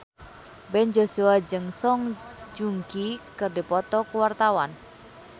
Ben Joshua jeung Song Joong Ki keur dipoto ku wartawan